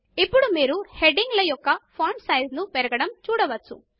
ఇప్పుడు మీరు హెడింగ్ యొక్క ఫాంట్ సైమాజ్ పెరగడమును చూడవచ్చు